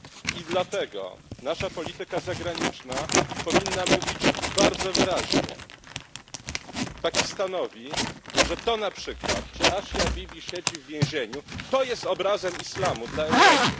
I dlatego nasza polityka zagraniczna powinna mówić bardzo wyraźnie Pakistanowi, że to na przykład, że Asia Bibi siedzi w więzieniu, to jest obrazem islamu dla Europy.